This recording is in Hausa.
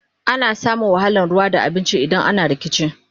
ana samun wahalan ruwa da abinci idan ana rikici